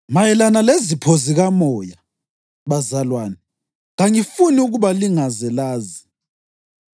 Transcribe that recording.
Mayelana lezipho zikamoya, bazalwane, kangifuni ukuba lingaze lazi.